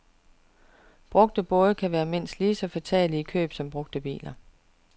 Brugte både kan være mindst lige så fatale i køb som brugte biler.